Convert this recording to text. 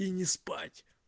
и не спать